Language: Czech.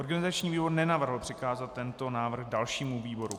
Organizační výbor nenavrhl přikázat tento návrh dalšímu výboru.